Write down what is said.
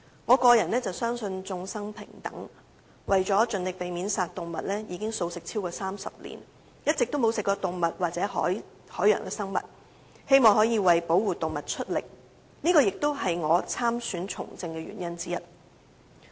我個人相信眾生平等，所以為了盡力避免殺生，至今已經茹素超過30年，一直沒有吃過動物或海洋生物，希望可以為保護動物出力，而這亦是我參選從政的原因之一。